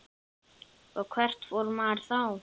Og hvert fór maður þá?